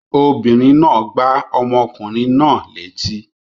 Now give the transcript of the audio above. Obìnrin náà gbá ọmọkùnrin náà létí.